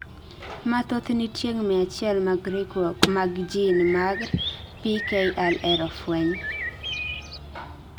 mathoth ni tieng' 100 mag riwruok mag gene mar PKLR ofueny